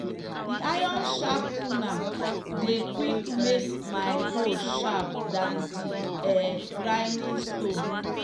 the iron sharpener dey quick make my hoe sharp than that um grinding stone.